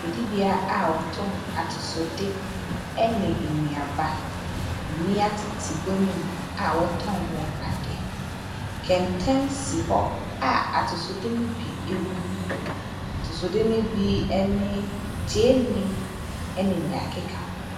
Dwadibea a wɔtɔn atosode ne nnuaba. Mmea tete gua no mu a wɔtɔn wɔn ade. Kɛntɛn si hɔ a atosode no bi gu mu. Atosode no bi ne gyeene, ne nea ɛkeka ho.